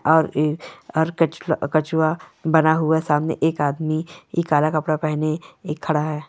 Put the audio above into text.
और इ और क-कछुआ बना हुआ सामने एक आदमी इ काला कपड़ा पहने इ खड़ा है।